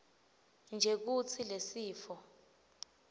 nje kutsi lesifo